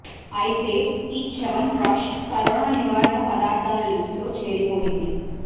అయితే ఈ చ్యవన్ప్రాష్ కరోనా నివారణ పదార్థాల లిస్ట్ లో చేరిపోయింది